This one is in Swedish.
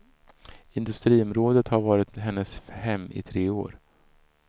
Industriområdet har varit hennes hem i tre år.